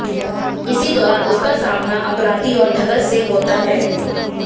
इसी दौरान उसका सामना अपराधी और ठग्स से होता है